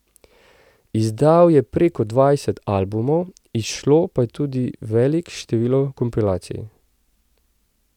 Izdal je preko dvajset albumov, izšlo pa je tudi velik število kompilacij.